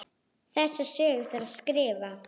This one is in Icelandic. Þessa sögu þarf að skrifa.